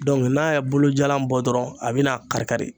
Dɔnku n'a ye bolojalan bɔ dɔrɔn a bi na kari kari